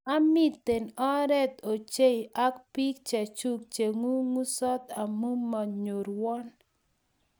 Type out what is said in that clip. Amite oret ochey ak bik chechuu Che ng'ung'sot amu manyorwon.